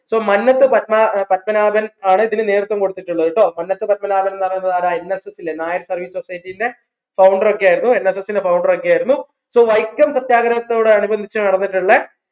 so Mannath Padma ഏർ പത്മനാഭൻ ആണ് ഇതിന് നേതൃത്വം കൊടുത്തിട്ടുള്ളത് ട്ടോ മന്നത്ത് പത്മനാഭൻന്ന് പറയുന്നത് ആരാ nayar service society ന്റെ founder ഒക്കെ ആയിരുന്നു NSS ൻറെ founder ഒക്കെ ആയിരുന്നു so വൈക്കം സത്യാഗ്രഹത്തിനോടനുബന്ധിച് നടന്നിട്ടുള്ള